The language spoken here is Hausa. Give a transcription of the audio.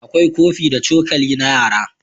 akwai kofi da cokali na yara